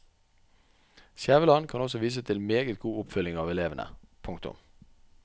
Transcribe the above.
Skjæveland kan også vise til meget god oppfølging av elevene. punktum